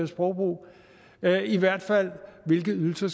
sprogbrug eller i hvert fald af hvilke ydelser